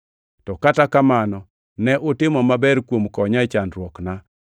To kata kamano, ne utimo maber kuom konya e chandruokna.